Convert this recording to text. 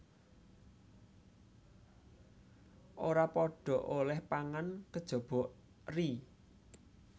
Ora padha olèh pangan kejaba eri